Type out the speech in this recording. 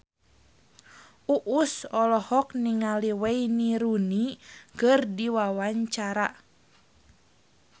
Uus olohok ningali Wayne Rooney keur diwawancara